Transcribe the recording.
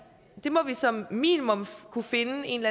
som minimum kunne finde en